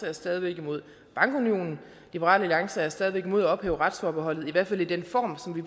er stadig væk imod bankunionen liberal alliance er stadig væk imod at ophæve retsforbeholdet i hvert fald i den form som vi